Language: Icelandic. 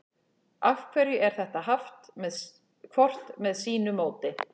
af hverju er þetta haft hvort með sínu móti